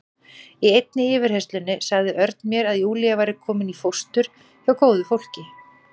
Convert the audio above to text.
Í einni yfirheyrslunni sagði Örn mér að Júlía væri komin í fóstur hjá góðu fólki.